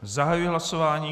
Zahajuji hlasování.